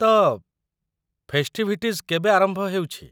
ତ, ଫେଷ୍ଟିଭିଟିଜ୍ କେବେ ଆରମ୍ଭ ହେଉଛି?